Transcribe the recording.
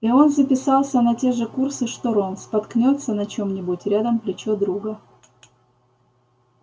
и он записался на те же курсы что рон споткнётся на чем-нибудь рядом плечо друга